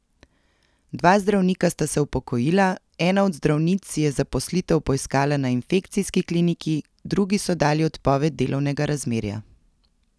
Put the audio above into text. Dva zdravnika sta se upokojila, ena od zdravnic si je zaposlitev poiskala na infekcijski kliniki, drugi so dali odpoved delovnega razmerja.